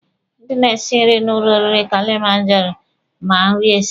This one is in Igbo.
Ndị na-esi nri na ụlọ oriri Kilimanjaro ma nri esi.